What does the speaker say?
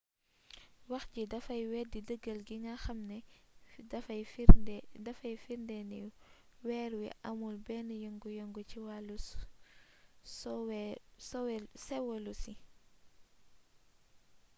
wax jii dafay weddi dëggal gi nga xam ne dafay firnde ni weer wi amul benn yengu yengu ci wàllu séwolosi